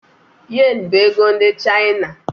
Yen bụ ego ndị China